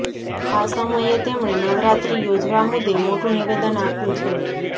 આ સમયે તેમણે નવરાત્રિ યોજવા મુદ્દે મોટું નિવેદન આપ્યું છે